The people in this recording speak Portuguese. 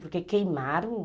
Porque queimaram o...